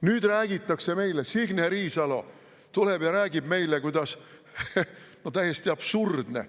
Nüüd räägitakse meile, Signe Riisalo tuleb ja räägib meile – no täiesti absurdne!